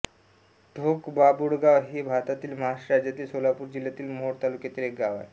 ढोकबाबुळगाव हे भारतातील महाराष्ट्र राज्यातील सोलापूर जिल्ह्यातील मोहोळ तालुक्यातील एक गाव आहे